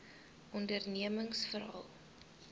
ondernemingsveral